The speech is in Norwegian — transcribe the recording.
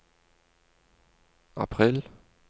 april